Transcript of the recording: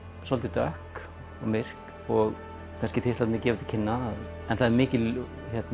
svolítið dökk og myrk og kannski titlarnir gefa það til kynna en það er mikil